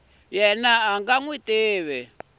yena a nga n wi